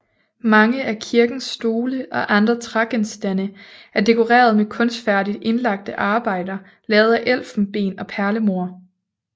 Mange af kirkens stole og andre trægenstande er dekoreret med kunstfærdigt indlagte arbejder lavet af elfenben og perlemor